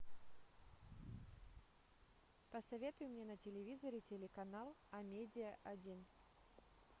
посоветуй мне на телевизоре телеканал амедиа один